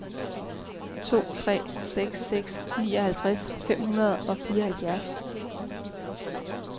to tre seks seks nioghalvtreds fem hundrede og fireoghalvfjerds